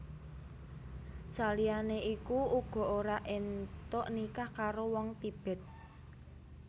Saliyane iku uga ora entuk nikah karo wong Tibet